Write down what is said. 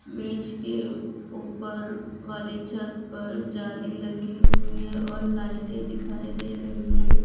मेज के ऊपर वाली छत पर जाली लगी हुई है और लाइटें दिखाई दे रही है।